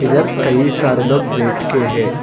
इधर कई सारे लोग बैठके है।